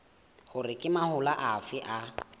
hore ke mahola afe a